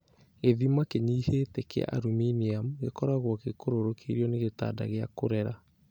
Gĩthima kĩnyihĩte kĩa aluminiamu gĩkoragwo gĩkũrũrũkĩirio nĩ gĩtanda gĩa kũrera